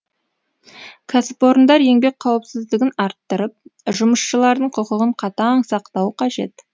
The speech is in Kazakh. кәсіпорындар еңбек қауіпсіздігін арттырып жұмысшылардың құқығын қатаң сақтауы қажет